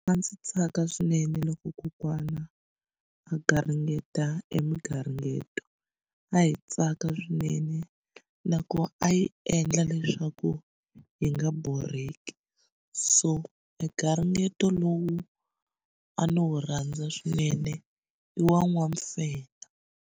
A ndzi tsaka swinene loko kokwana a garingeta e migaringeto a hi tsaka swinene na ku va a yi endla leswi swa ku hi nga borheki so migaringeto lowu a ni wu rhandza swinene i wa n'wamfenha.